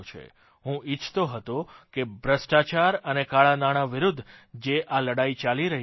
હું ઇચ્છતો હતો કે ભ્રષ્ટાચાર અને કાળાં નાણાં વિરૂદ્ધ જે આ લડાઇ ચાલી રહી છે